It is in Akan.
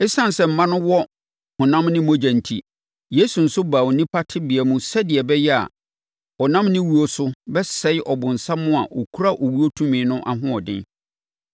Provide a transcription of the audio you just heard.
Esiane sɛ mma no wɔ honam ne mogya enti, Yesu nso baa onipa tebea mu sɛdeɛ ɛbɛyɛ a ɔnam ne wuo no so bɛsɛe ɔbonsam a ɔkura owuo tumi no ahoɔden.